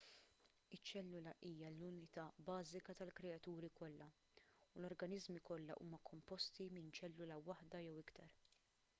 iċ-ċellula hija l-unità bażika tal-kreaturi kollha u l-organiżmi kollha huma komposti minn ċellula waħda jew iktar